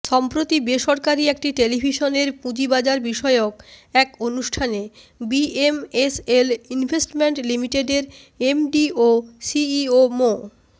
সম্প্রতি বেসরকারি একটি টেলিভিশনের পুঁজিবাজারবিষয়ক এক অনুষ্ঠানে বিএমএসএল ইনভেস্টমেন্ট লিমিটেডের এমডি ও সিইও মো